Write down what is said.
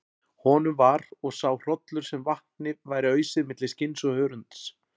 Honum var og sá hrollur sem vatni væri ausið milli skinns og hörunds.